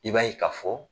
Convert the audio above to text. I b'a ye ka fɔ